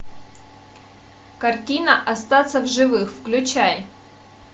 картина остаться в живых включай